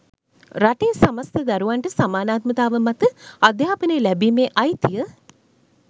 රටේ සමස්ත දරුවන්ට සමානාත්මතාව මත අධ්‍යාපනය ලැබිමේ අයිතිය